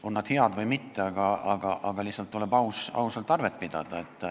On see hea või mitte, aga lihtsalt tuleb ausalt arvet pidada.